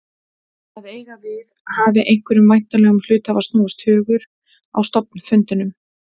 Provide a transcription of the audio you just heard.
að eiga við hafi einhverjum væntanlegum hluthafa snúist hugur á stofnfundinum.